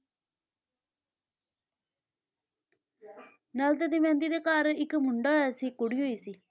ਨਲ ਤੇ ਦਮਿਅੰਤੀ ਦੇ ਘਰ ਇੱਕ ਮੁੰਡਾ ਹੋਇਆ ਸੀ, ਇੱਕ ਕੁੜੀ ਹੋਈ ਸੀ।